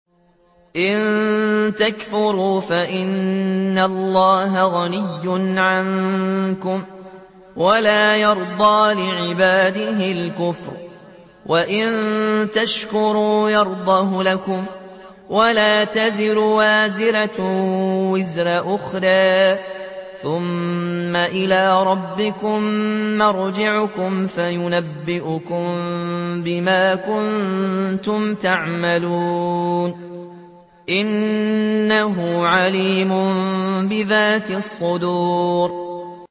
إِن تَكْفُرُوا فَإِنَّ اللَّهَ غَنِيٌّ عَنكُمْ ۖ وَلَا يَرْضَىٰ لِعِبَادِهِ الْكُفْرَ ۖ وَإِن تَشْكُرُوا يَرْضَهُ لَكُمْ ۗ وَلَا تَزِرُ وَازِرَةٌ وِزْرَ أُخْرَىٰ ۗ ثُمَّ إِلَىٰ رَبِّكُم مَّرْجِعُكُمْ فَيُنَبِّئُكُم بِمَا كُنتُمْ تَعْمَلُونَ ۚ إِنَّهُ عَلِيمٌ بِذَاتِ الصُّدُورِ